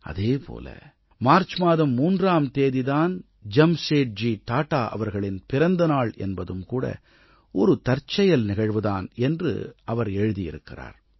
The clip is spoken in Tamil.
அதே போல மார்ச் மாதம் 3ஆம் தேதி தான் ஜம்சேட்ஜி டாடா அவர்களின் பிறந்த நாள் என்பதும் கூட ஒரு தற்செயல் நிகழ்வு தான் என்று எழுதியிருக்கிறார்